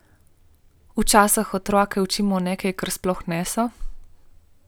Včasih otroke učimo nekaj, kar sploh niso.